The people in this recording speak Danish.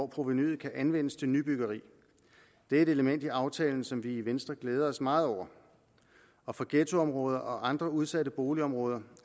provenuet kan anvendes til nybyggeri det er et element i aftalen som vi i venstre glæder os meget over og for ghettoområder og andre udsatte boligområder